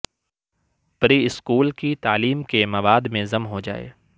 pre school کی تعلیم کے مواد میں ضم ہوجائے